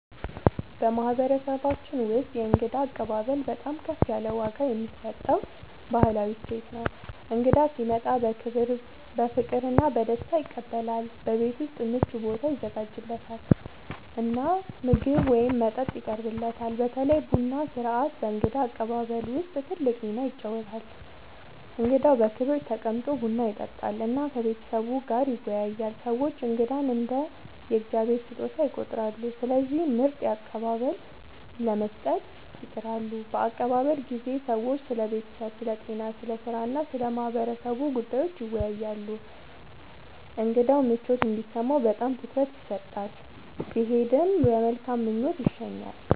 በማህበረሰባችን ውስጥ የእንግዳ አቀባበል በጣም ከፍ ያለ ዋጋ የሚሰጠው ባህላዊ እሴት ነው። እንግዳ ሲመጣ በክብር፣ በፍቅር እና በደስታ ይቀበላል፤ በቤት ውስጥ ምቹ ቦታ ይዘጋጃለት እና ምግብ ወይም መጠጥ ይቀርብለታል። በተለይ ቡና ሥርዓት በእንግዳ አቀባበል ውስጥ ትልቅ ሚና ይጫወታል፣ እንግዳው በክብር ተቀምጦ ቡና ይጠጣል እና ከቤተሰቡ ጋር ይወያያል። ሰዎች እንግዳን እንደ “የእግዚአብሔር ስጦታ” ይቆጥራሉ፣ ስለዚህ ምርጥ አቀባበል ለመስጠት ይጥራሉ። በአቀባበል ጊዜ ሰዎች ስለ ቤተሰብ፣ ስለ ጤና፣ ስለ ሥራ እና ስለ ማህበረሰቡ ጉዳዮች ይወያያሉ። እንግዳው ምቾት እንዲሰማው በጣም ትኩረት ይሰጣል፣ ሲሄድም በመልካም ምኞት ይሸኛል።